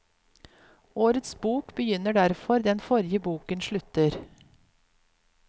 Årets bok begynner der den forrige boken slutter.